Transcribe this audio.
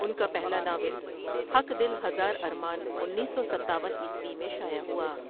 ان کا پہلا ناول ہک دل ہزار ارمان انیس سو ستاون عیسوی میں شائع ہوا ۔